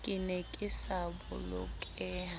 ke ne ke sa bolokeha